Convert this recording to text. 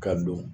Ka don